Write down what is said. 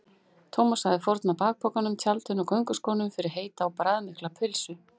Thomas hefði fórnað bakpokanum, tjaldinu og gönguskónum fyrir heita og bragðmikla pylsu núna.